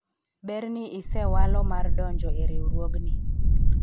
ber ni isewalo mar donjo e riwruogni